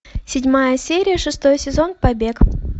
седьмая серия шестой сезон побег